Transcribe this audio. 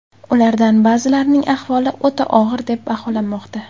Ulardan ba’zilarining ahvoli o‘ta og‘ir deb baholanmoqda.